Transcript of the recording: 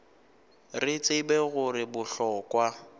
re tseba gore go bohlokwa